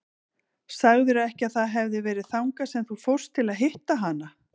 Sagðirðu ekki að það hefði verið þangað sem þú fórst til að hitta hana?